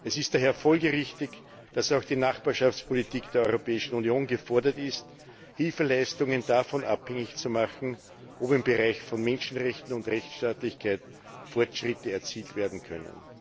Es ist daher folgerichtig, dass auch die Nachbarschaftspolitik der Europäischen Union gefordert ist, Hilfeleistungen davon abhängig zu machen, ob im Bereich von Menschenrechten und Rechtsstaatlichkeit Fortschritte erzielt werden können.